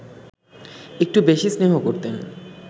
একটু বেশি স্নেহ করতেন